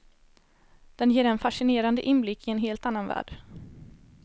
Den ger en fascinerande inblick i en helt annan värld.